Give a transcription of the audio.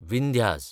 Vindhyas